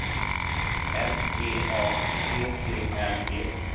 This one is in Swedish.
S E A T T L E